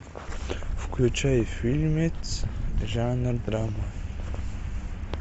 включай фильмец жанр драма